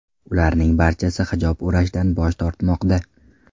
Ularning barchasi hijob o‘rashdan bosh tortmoqda.